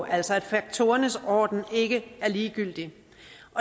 altså at faktorernes orden ikke er ligegyldig